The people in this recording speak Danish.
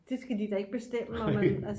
det skal de da ikke bestemme